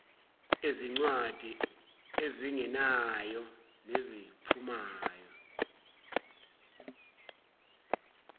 ezincwadi ezingenayo neziphumayo